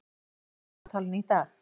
Steindór, hvað er í dagatalinu í dag?